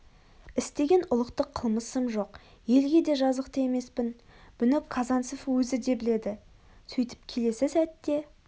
істеген ұлықтық қылмысым жоқ елге де жазықты емеспін бұны казанцев өзі де біледі сөйтіп келесі сәтте